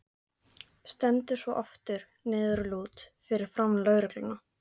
Stendur svo aftur niðurlút fyrir framan lögregluna.